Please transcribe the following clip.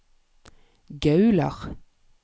Gaular